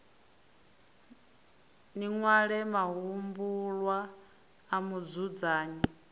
ni ṅwale mahumbulwa a mudzudzanyi